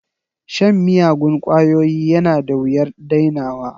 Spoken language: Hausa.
Shan miyagun ƙwayoyi yana da wuyar dainawa